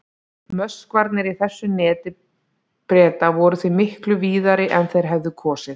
Möskvarnir í þessu neti Breta voru því miklu víðari en þeir hefðu kosið.